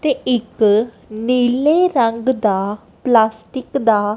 ਤੇ ਇੱਕ ਨੀਲੇ ਰੰਗ ਦਾ ਪਲਾਸਟਿਕ ਦਾ--